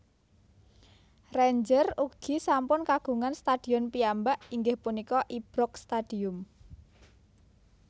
Rangers ugi sampun kagungan stadion piyambak inggih punika Ibrox Stadium